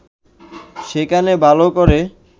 সেখানে ভালো করে